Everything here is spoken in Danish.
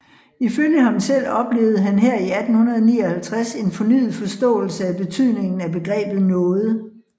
Ifølge ham selv oplevede han her i 1859 en fornyet forståelse af betydningen af begrebet nåde